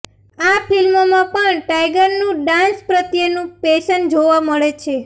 આ ફિલ્મમાં પણ ટાઈગરનું ડાન્સ પ્રત્યેનું પેશન જોવા મળે છે